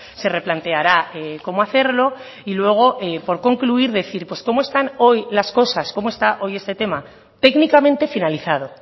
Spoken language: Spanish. se replanteará cómo hacerlo y luego por concluir decir pues cómo están hoy las cosas cómo está hoy este tema técnicamente finalizado